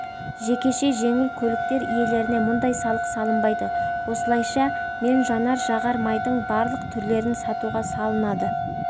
жекеше жеңіл көліктер иелеріне мұндай салық салынбайды осылайша мен жанар-жағар майдың барлық түрлерін сатуға салынады